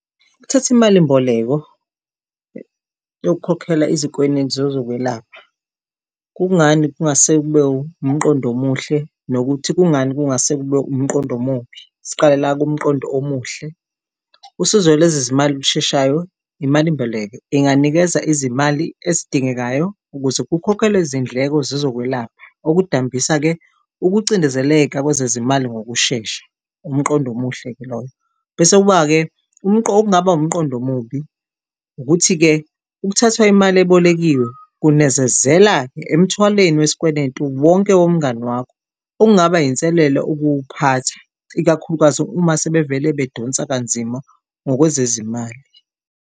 Ukuthatha imalimboleko yokukhokhela izikwenetu zezokwelapha. Kungani kungase kube umqondo omuhle, nokuthi kungani kungase kube umqondo omubi siqale la kumqondo omuhle. Usizo lezezimali olusheshayo imalimboleko inganikeza izimali ezidingekayo ukuze kukhokhelwe izindleko zezokwelapha okudambisa-ke ukucindezeleka kwezezimali ngokushesha umqondo omuhle-ke loyo. Bese kuba-ke okungaba umqondo omubi, ukuthi-ke ukuthathwa imali ebolekiwe kunezezela-ke emthwalweni wesikweletu wonke, womngani wakho okungaba inselelo ukuwuphatha ikakhulukazi uma sebevele bedonsa kanzima ngokwezezimali.